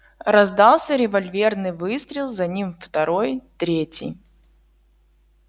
раздался револьверный выстрел за ним второй третий